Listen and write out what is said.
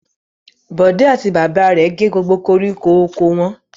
Bọ̀dé àti bàbá rẹ̀ gé gbogbo koríko oko wọn.